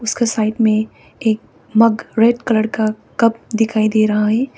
क साइड में एक मग रेड कलर का कप दिखाई दे रहा है।